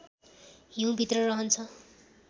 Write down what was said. हिउँभित्र रहन्छ